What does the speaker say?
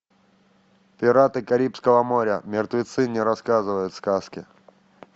пираты карибского моря мертвецы не рассказывают сказки